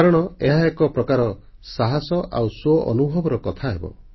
କାରଣ ଏହା ଏକ ପ୍ରକାର ସାହସ ଆଉ ସ୍ୱଅନୁଭବର କଥାହେବ